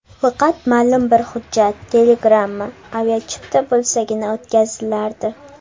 Faqat ma’lum bir hujjat: telegramma, aviachipta bo‘lsagina o‘tkazilardi.